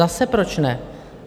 Zase proč ne?